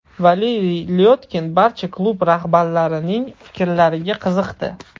Valeriy Lyotkin barcha klub rahbarlarining fikrlariga qiziqdi.